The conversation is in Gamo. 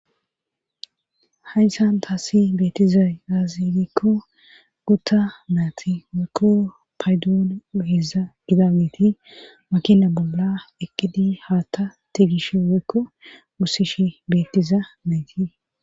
hayinsan taasi beetiza daazigikko gutta naati waykko paydoon oheeza gidageti makina bolla ekidi haa ta tigishe woykko wussishi beettiza mayti